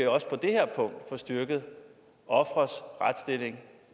også på det her punkt kan få styrket ofres retsstilling